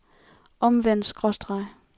omvendt skråstreg